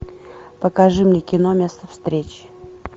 покажи мне кино место встречи